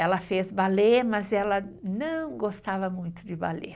Ela fez balé, mas ela não gostava muito de balé.